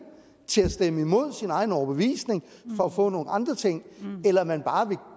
til at stemme imod sin egen overbevisning for at få nogle andre ting eller om man bare vil